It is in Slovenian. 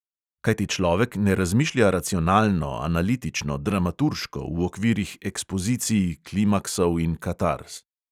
Kajti človek ne razmišlja racionalno, analitično, dramaturško, v okvirih ekspozicij, klimaksov in katarz.